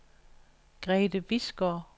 Grethe Bisgaard